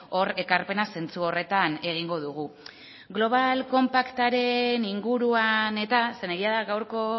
hor ekarpena zentsu horretan egingo dugu global compactaren inguruan eta zeren egia da gaurko